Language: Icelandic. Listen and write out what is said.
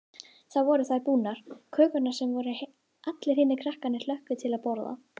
Þá voru þær búnar, kökurnar sem allir hinir krakkarnir hlökkuðu til að borða.